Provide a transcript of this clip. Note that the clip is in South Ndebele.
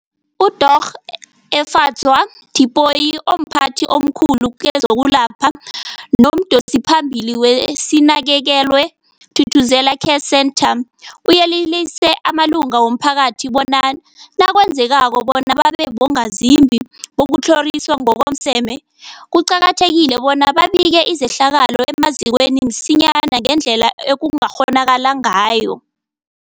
UDorh Efadzwa Tipoy, omphathi omkhulu kezokwelapha nomdosiphambili weSinakekelwe Thuthuzela Care Centre, uyelelise amalunga womphakathi bona nakwenzekako bona babe bongazimbi bokutlhoriswa ngokomseme, kuqakathekile bona babike izehlakalo emazikweni msinyana ngendlela ekungakghonakala ngayo.